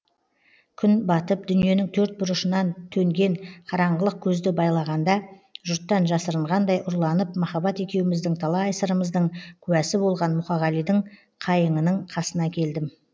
күн батып дүниенің төрт бұрышынан төнген қараңғылық көзді байлағанда жұрттан жасырынғандай ұрланып махаббат екеуміздің талай сырымыздың куәсі болған мұқағалидың қайыңының қасына келдім